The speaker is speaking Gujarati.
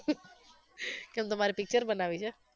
ઉહ કેમ તમારે picture બનાવવી છે?